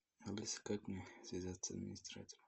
алиса как мне связаться с администратором